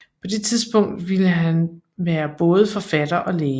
På det tidspunkt ville han være både forfatter og læge